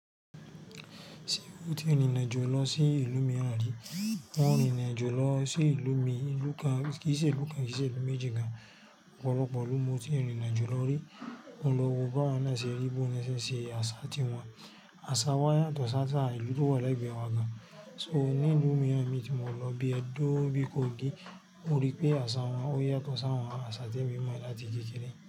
Ṣé ó ti rin irinajo lọ sí ìlú mìíràn rí? Mo rìn irinajo lọ sí ìlú mii, ìlú kán kì í ṣe ìlú kán kì í ṣe ìlú méjì gan. Ọ̀pọ̀lọpọ̀ ilú mo tí rin rinajo lọ rí, mo lọ wo bá wọn náà ṣe rí bó na ṣen ṣe àṣà ti wọn. Àṣà wa yàtọ̀ sásaà ìlú tó wà legbẹ́ wa gan. So ní ìlú mìíràn mi ti mọ̀ lọ bí edó bí kògí, mo rí pé àṣà wọn ó yàtọ̀ sáwon àṣà tí èmi mọ̀ láti kẹkẹrẹ.